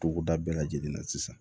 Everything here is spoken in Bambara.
Togoda bɛɛ lajɛlen na sisan